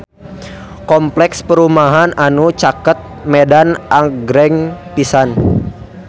Kompleks perumahan anu caket Medan agreng pisan